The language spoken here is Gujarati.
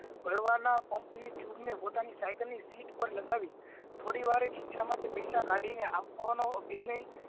ભરવાના pump ની tube ની seat પાર લગાવી થોડીવારે ખિસ્સામાંથી પેઇસા કાઢીને આપવા નો આભિનય